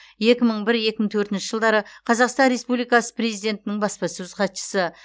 екі мың бір екі мың төртінші жылдары қазақстан республикасы президентінің баспасөз хатшысы